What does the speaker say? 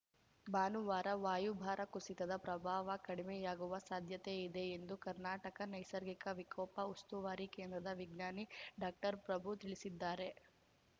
ಭಾನುವಾರ ವಾಯುಭಾರ ಕುಸಿತದ ಪ್ರಭಾವ ಕಡಿಮೆಯಾಗುವ ಸಾಧ್ಯತೆ ಇದೆ ಎಂದು ಕರ್ನಾಟಕ ನೈಸರ್ಗಿಕ ವಿಕೋಪ ಉಸ್ತುವಾರಿ ಕೇಂದ್ರದ ವಿಜ್ಞಾನಿ ಡಾಕ್ಟರ್ಪ್ರಭು ತಿಳಿಸಿದ್ದಾರೆ